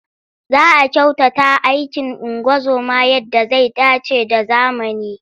Za a kyautata aikin ungozoma yadda zai dace da zamani.